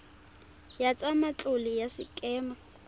ya tsa matlole ya sekema